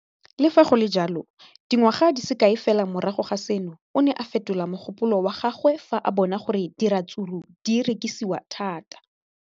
Le fa go le jalo, dingwaga di se kae fela morago ga seno, o ne a fetola mogopolo wa gagwe fa a bona gore diratsuru di rekisiwa thata.